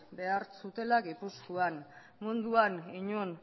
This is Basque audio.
behar zutela gipuzkoan munduan inon